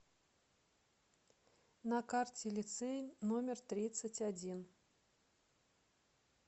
на карте лицей номер тридцать один